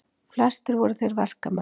Flestir voru þeir verkamenn.